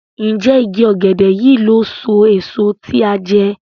Njé ìgi ògèdè yí ló so èso tí a jé?